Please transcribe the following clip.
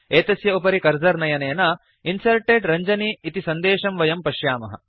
एतस्य उपरि कर्सर् नयनेन Inserted रञ्जनी इति सन्देशं वयं पश्यामः